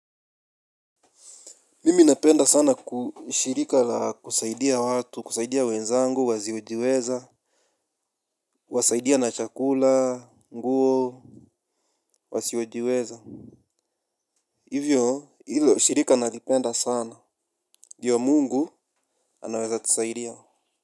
Mimi napenda sana kushirika la kusaidia watu, kusaidia wenzangu, wasiojiweza, kuwasaidia na chakula, nguo, wasiojiweza. Hivyo, hilo shirika nalipenda sana, ndio mungu anaweza tusaidia.